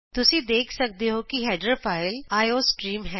ਤੁਸੀਂ ਦੇਖ ਸਕਦੇ ਹੋ ਦੇਖ ਸਕਦੇ ਹੋ ਹੈਡਰ ਫਾਈਲ ਆਈਓਸਟ੍ਰੀਮ ਹੈ